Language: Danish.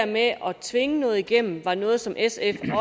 med at tvinge noget igennem var noget som sf